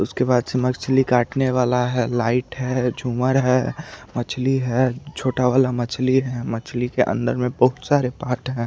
उसके बाद से मछली काटने वाला है लाइट है जुमर है मछली है छोटा वाला मछली के अन्दर में बहुत सारे है।